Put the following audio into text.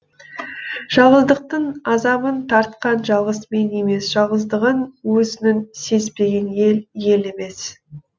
жалғыздықтың азабын тартқан жалғыз мен емес жалғыздығын өзінің сезбеген ел ел емес